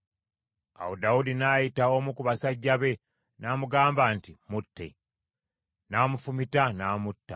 Awo Dawudi n’ayita omu ku basajja be, n’amugamba nti, “Mutte.” N’amufumita n’amutta.